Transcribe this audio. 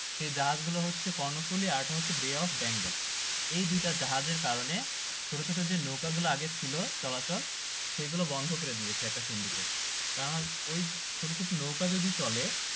সে জাহাজ গুলা হচ্ছে কর্ণফুলী আর একটা হচ্ছে bay of bengal এই দুটা জাহাজের কারণে ছোট ছোট নৌকা গুলা যে আগে ছিল চলাচল সেগুলা বন্ধ করে দিয়েছে একটা syndicate কারণ ওই ছোট ছোট নৌকা যদি চলে